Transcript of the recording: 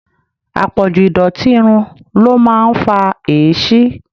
Apọ̀jù ìdọ̀tí irun ló máa ń fa èéṣí.